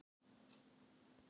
Já, mjög lík.